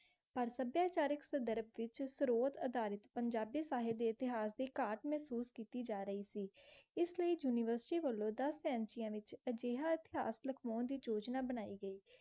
ਸਾਰੀ ਖੁਰ੍ਦਾਰਿਪ ਵਿਚ ਖਾਰੋਟ ਅਡਰੀ ਟੀ ਪੰਜਾਬੀ ਸਾਹਿਬ ਡੀ ਇਤ੍ਯ੍ਹਾਸ ਡੀ ਕਰ ਮੇਹ੍ਸੂਸ ਕੀਤੀ ਜਾ ਰਹੀ ਕ ਇਸ ਲੀਏ ਉਨਿਵੇਰ੍ਸਿਟੀ ਨੂ ਲੋੜਾ ਵਿਚ ਅਜਿਹਾ ਇਤ੍ਯ੍ਹਾਸ ਲਿਖ੍ਵੋਨੇ ਦੀ ਜੋਸ਼ਨਾ ਬਣਾਈ ਗਈ